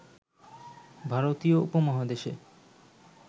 ভারতীয় উপমহাদেশে